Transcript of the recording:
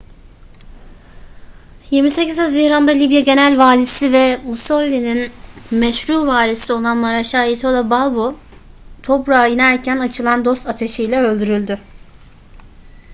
28 haziran'da libya genel valisi ve mussolini'nin meşru varisi olan mareşal italo balbo tobruk'a inerken açılan dost ateşi ile öldürüldü